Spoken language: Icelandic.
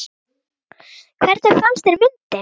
Hvernig fannst þér myndin?